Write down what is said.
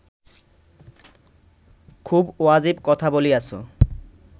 খুব ওয়াজিব কথা বলিয়াছ